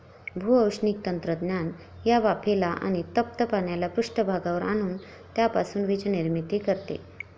भूऔष्णिक तंत्रज्ञान या वाफेला आणि तप्त पाण्याला पृष्ठभागावर आणून त्यापासून वीजनिर्मिती करते.